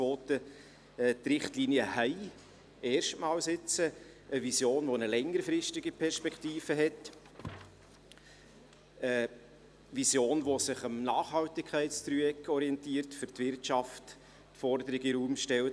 Die Richtlinien enthalten zum ersten Mal eine Vision mit einer längerfristigen Perspektive, eine Vision, die sich am Nachhaltigkeitsdreieck orientiert und für die Wirtschaft Forderungen in den Raum stellt: